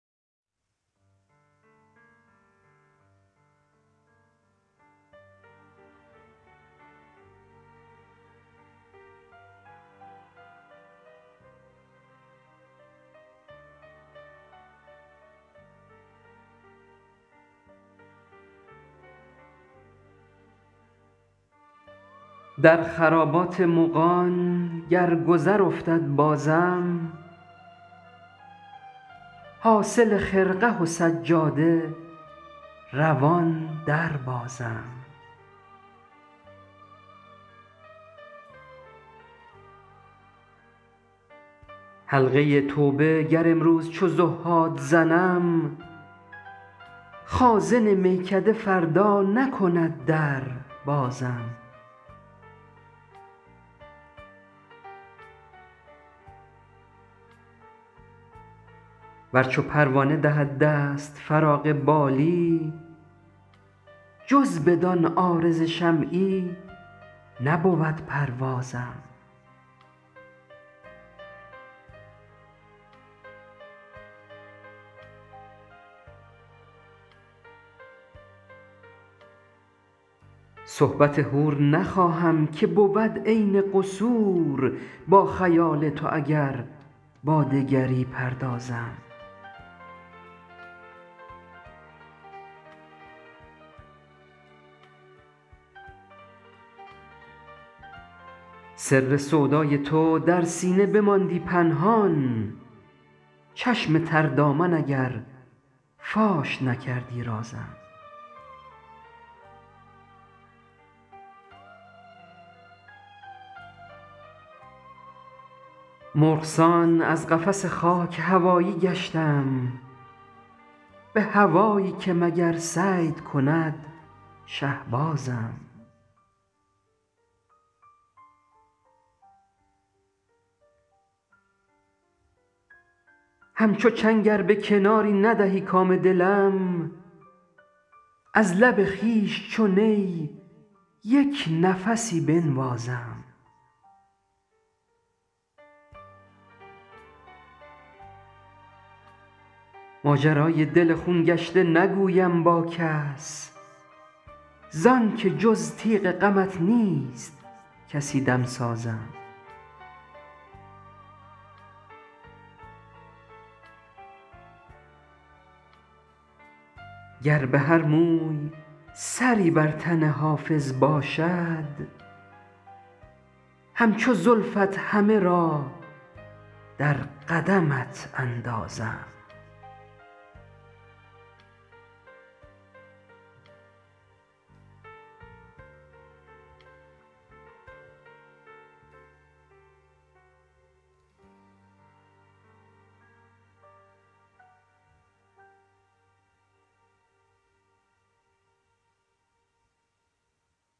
در خرابات مغان گر گذر افتد بازم حاصل خرقه و سجاده روان دربازم حلقه توبه گر امروز چو زهاد زنم خازن میکده فردا نکند در بازم ور چو پروانه دهد دست فراغ بالی جز بدان عارض شمعی نبود پروازم صحبت حور نخواهم که بود عین قصور با خیال تو اگر با دگری پردازم سر سودای تو در سینه بماندی پنهان چشم تر دامن اگر فاش نکردی رازم مرغ سان از قفس خاک هوایی گشتم به هوایی که مگر صید کند شهبازم همچو چنگ ار به کناری ندهی کام دلم از لب خویش چو نی یک نفسی بنوازم ماجرای دل خون گشته نگویم با کس زان که جز تیغ غمت نیست کسی دمسازم گر به هر موی سری بر تن حافظ باشد همچو زلفت همه را در قدمت اندازم